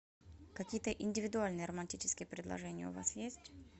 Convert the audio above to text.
какие то индивидуальные романтические предложения у вас есть